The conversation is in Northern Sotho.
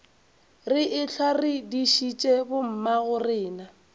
re ehlwa re dišitše bommagorena